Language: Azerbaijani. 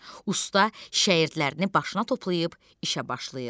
Usta şagirdlərini başına toplayıb işə başlayır.